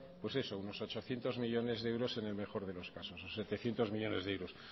unos ochocientos millónes de euros en el mejor de los casos setecientos millónes de euros